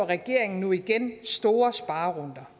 regeringen nu igen store sparerunder